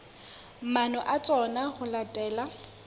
maano a tsona ho latela